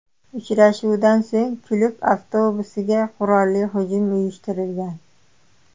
Uchrashuvdan so‘ng klub avtobusiga qurolli hujum uyushtirilgan.